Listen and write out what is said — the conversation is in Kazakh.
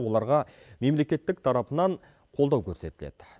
оларға мемлекеттік тарапынан қолдау көрсетіледі